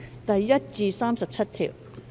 第1至37條。